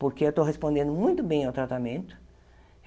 Porque eu estou respondendo muito bem ao tratamento.